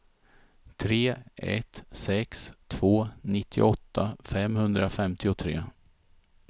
tre ett sex två nittioåtta femhundrafemtiotre